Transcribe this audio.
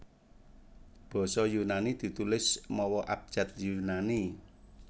Basa Yunani ditulis mawa abjad Yunani